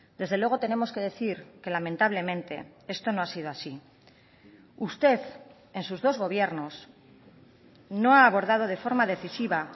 desde luego tenemos que decir que lamentablemente esto no ha sido así usted en sus dos gobiernos no ha abordado de forma decisiva